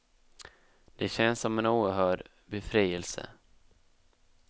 Det känns som en oerhörd befrielse.